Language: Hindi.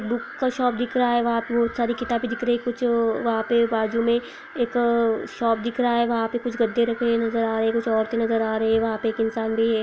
बुक का शॉप दिख रहा है वहाँ पे बहुत सारे किताबे दिख रही है कुछ वहाँ पे बाजु मे एक शॉप दिख रहा है वहाँ पे कुछ गद्दे रखे हुए नज़र आ रहे है कुछ औरते नज़र आ रही है वहाँ पे एक इंसान भी है।